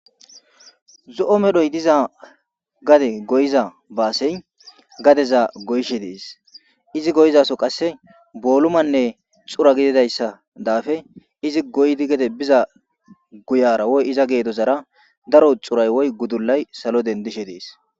Zoo medhoyi diza gade goyiza baseyi gadeza goyishshe deesi izi goyizasozi qase bolumanne xura gididayissa izi gede goyidi biza woyi iza gedozara xurayi woyis gudulayi salo denidishe deesi